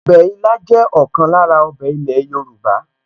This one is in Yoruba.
Ọbẹ̀ ilá jẹ́ ọ̀kan lára ọbẹ̀ ilẹ̀ Yorùbá